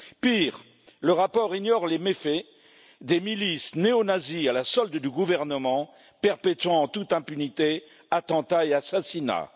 Pire, le rapport ignore les méfaits des milices néonazies à la solde du gouvernement, qui perpètrent en toute impunité attentats et assassinats.